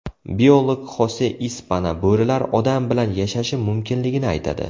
Biolog Xose Ispana bo‘rilar odam bilan yashashi mumkinligini aytadi.